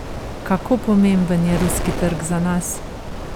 Kako pomemben je ruski trg za nas?